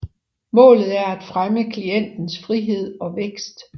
Målet er at fremme klientens frihed og vækst